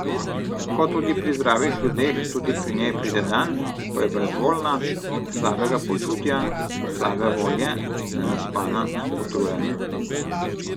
Kot tudi pri zdravih ljudeh tudi pri njej pride dan, ko je brezvoljna, slabega počutja, slabe volje, nenaspana, utrujena.